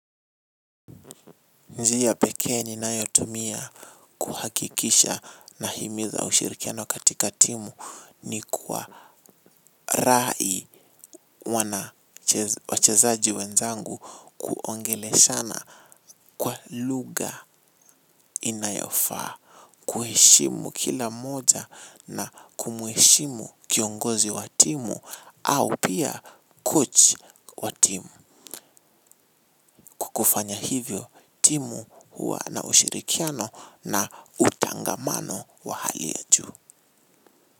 Njiya peke ni nayo tumia kuhakikisha na himiza ushirikiano katika timu ni kwa rai wana wachezaji wenzangu kuongele shana kwa luga inayofa. Kuheshimu kila moja na kumuheshimu kiongozi watimu au pia coach watimu. Kukufanya hivyo timu huwa na ushirikiano na utangamano wa hali ya juu.